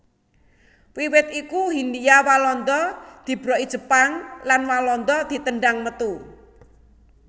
Wiwit iku Hindia Walanda dibroki Jepang lan Walanda ditendhang metu